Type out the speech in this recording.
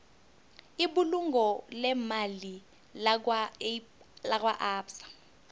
ibulungo leemali lakwaabsa